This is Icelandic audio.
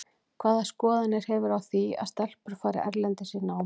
Hvaða skoðanir hefurðu á því að stelpur fari erlendis í nám?